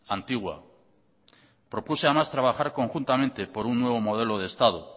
antigua propuse a mas trabajar conjuntamente por un nuevo modelo de estado